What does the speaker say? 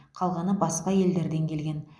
қалғаны басқа елдерден келген